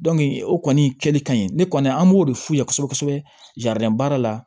o kɔni kɛli ka ɲi ne kɔni an b'o de f'u ye kosɛbɛ kosɛbɛ baara la